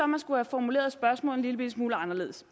man skulle have formuleret spørgsmålet en lillebitte smule anderledes